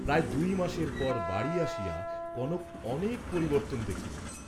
প্রায় দুই মাসের পর বাড়ী আসিয়া কনক অনেক পরিবর্ত্তন দেখিল।